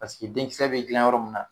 Paseke denkisɛ bɛ dlan yɔrɔ min na